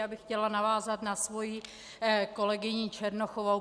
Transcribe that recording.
Já bych chtěla navázat na svoji kolegyni Černochovou.